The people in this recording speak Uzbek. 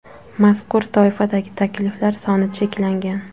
Mazkur toifadagi takliflar soni cheklangan.